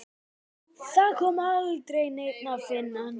Það kom aldrei neinn að finna hann.